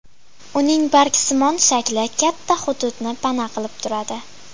Uning bargsimon shakli katta hududni pana qilib turadi.